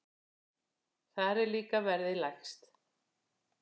Þar er líka verðið lægst.